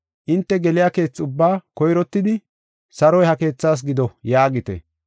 Hinte geliya keethe ubbaa koyrottidi, ‘Saroy ha keethaas gido’ yaagite.